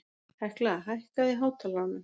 Hekla, hækkaðu í hátalaranum.